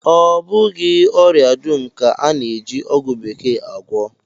Ọ bụghị ọria dum ka a na-eji ọgwụ bekee agwọ